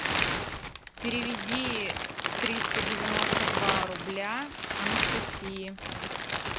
переведи триста девяносто два рубля анастасии